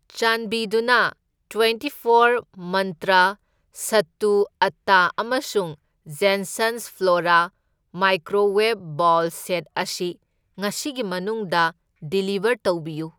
ꯆꯥꯟꯕꯤꯗꯨꯅ ꯇ꯭ꯋꯦꯟꯇꯤꯐꯣꯔ ꯃꯟꯇ꯭ꯔ ꯁꯠꯇꯨ ꯑꯠꯇꯥ ꯑꯃꯁꯨꯡ Jensons Flora microwave bowl set ꯑꯁꯤ ꯉꯁꯤꯒꯤ ꯃꯅꯨꯡꯗ ꯗꯤꯂꯤꯕꯔ ꯇꯧꯕꯤꯌꯨ꯫